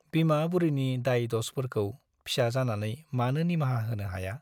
बिमा बुरैनि दाय- दसफोरखौ फिसा जानानै मानो निमाहा होनो हाया ?